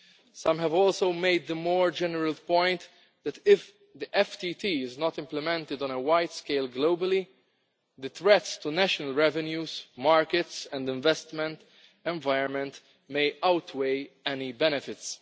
Some have also made the more general point that, if the FTT is not implemented on a wide scale globally, the threat to national revenues, markets and the investment environment may outweigh any benefits.